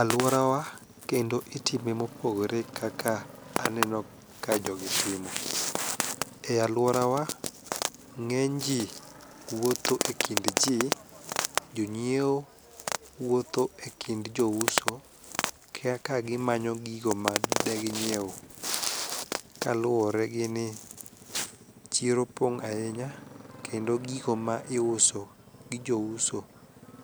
Alworawa kendo itime mopogore kaka aneno ka jogi timo, e alworawa ng'eny ji wuotho e kind ji, jonyieo wuotho e kind jouso kaka gimanyo gigo madeginyiew kaluwore gi ni chiro pong' ahinya kendo gigo ma iuso gi jouso